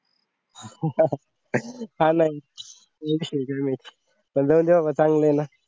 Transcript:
हा ना oh shit damte बाबा चांगले आहे ना